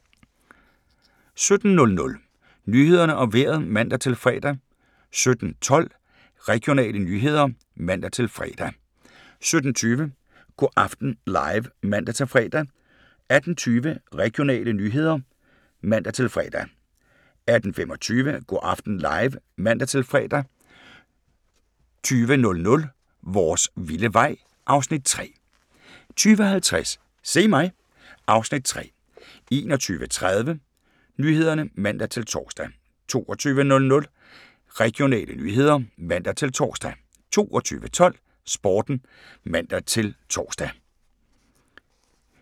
17:00: Nyhederne og Vejret (man-fre) 17:12: Regionale nyheder (man-fre) 17:20: Go' aften live (man-fre) 18:20: Regionale nyheder (man-fre) 18:25: Go' aften live (man-fre) 20:00: Vores vilde vej (Afs. 3) 20:50: Se mig! (Afs. 3) 21:30: Nyhederne (man-tor) 22:00: Regionale nyheder (man-tor) 22:12: Sporten (man-tor)